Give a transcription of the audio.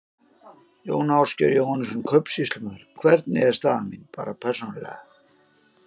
Jón Ásgeir Jóhannesson, kaupsýslumaður: Hvernig er staða mín. bara persónulega?